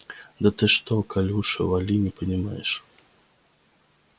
да ты что колюша вали не помнишь